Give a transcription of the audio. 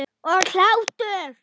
Og hlátur.